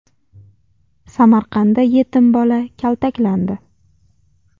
Samarqandda yetim bola kaltaklandi .